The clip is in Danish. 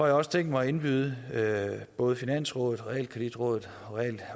jeg også tænkt mig at indbyde både finansrådet realkreditrådet